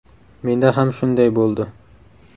Menda ham shunday bo‘ldi.